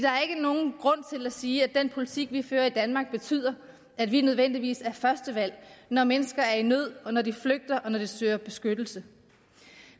at at sige at den politik vi fører i danmark betyder at vi nødvendigvis er første valg når mennesker er i nød og når de flygter og når de søger beskyttelse